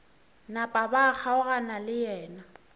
napa ba kgaogana le yena